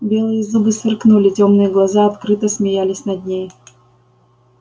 белые зубы сверкнули тёмные глаза открыто смеялись над ней